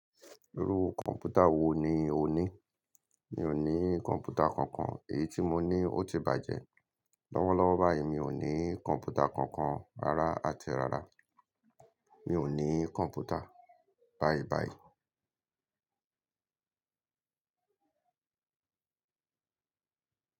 Irú kọ̀ǹpútà wo ni o ní? Mi ò ní kọ̀ǹpútà kankan, èyí tí mo ní ó ti bàjẹ́. Lọ́wọ́lọ́wọ́ báyìí mi ò ní kọ̀ǹpútà kankan, ràrá àti rara. Mi ò ní kọ̀ǹpútà báyìí báyìí.